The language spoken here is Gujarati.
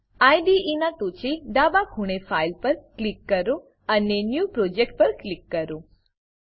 આઇડીઇ નાં ટોંચે ડાબા ખૂણે ફાઇલ ફાઈલ પર ક્લિક કરો અને ન્યૂ પ્રોજેક્ટ ન્યુ પ્રોજેક્ટ પર ક્લિક કરો